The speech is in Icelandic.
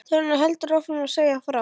Þórunn heldur áfram að segja frá